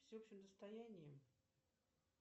всеобщим достоянием